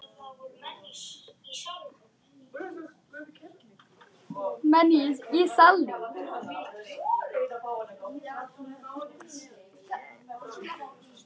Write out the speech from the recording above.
Hvorn líst þér betur á?